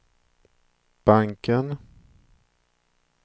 banken